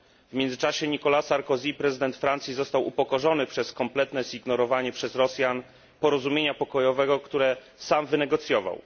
W międzyczasie Nicolas Sarkozy, prezydent Francji, został upokorzony kompletnym zignorowaniem przez Rosjan porozumienia pokojowego, które sam wynegocjował.